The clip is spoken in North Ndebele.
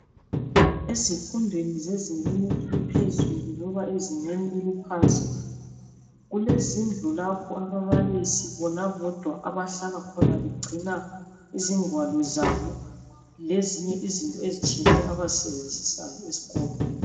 Ezifundweni zezingeni eliphezulu loba ezingeni eliphansi kulezindlu lapho ababalisi bona bodwa abahlala khona begcina izingwalo zabo lezinye izinto ezitshiyeneyo abazisebenzisayo esikolo.